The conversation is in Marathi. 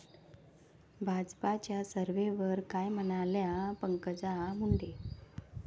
भाजपच्या सर्व्हेवर काय म्हणाल्या पंकजा मुंडे!